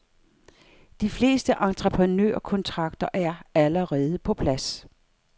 De fleste entreprenørkontrakter er allerede på plads.